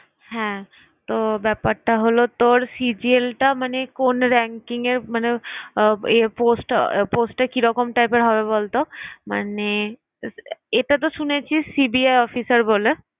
হ্যাঁ তো ব্যাপারটা হল তোর C. G. L টা মানে কোন ranking য়ে মানে অব~ এ post টা post টা কি রকম type র হবে বলতো? মানে এটা তো শুনেছি CBI officer বলে